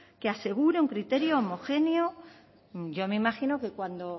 que asegure un criterio homogéneo yo me imagino que cuando